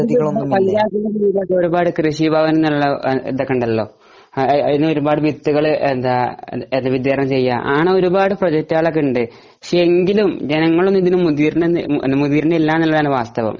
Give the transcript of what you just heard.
ഒരുപാട് കൃഷി ഭവൻ എന്നൊക്കെ ഉണ്ടല്ലോ അതിന് ഒരുപാട് വിത്തുകൾ വിതരണം ചെയ്യുക അങ്ങനെ ഒരുപാട് പ്രൊജക്റ്റ് ഒക്കെ ഉണ്ട് പക്ഷെ എങ്കിലും ജനങ്ങൾ ഇതിന് മുതിരുന്നില്ല എന്നുള്ളതാണ് വാസ്തവം